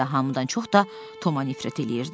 Hamıdan çox da Toma nifrət eləyirdi.